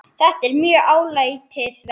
Þetta er mjög áleitið verk.